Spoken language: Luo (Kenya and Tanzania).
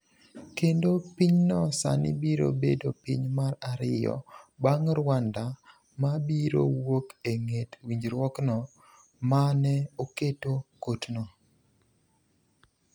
Kendo pinyno sani biro bedo piny mar ariyo bang’ Rwanda ma biro wuok e ng’et winjruokno ma ne oketo kotno.